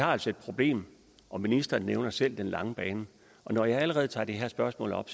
har altså et problem og ministeren nævner selv den lange bane og når jeg allerede nu tager det her spørgsmål op